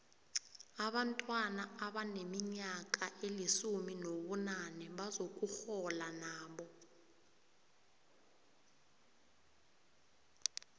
abantwana abaneminyaka elisumi nobunane bazokurhola nabo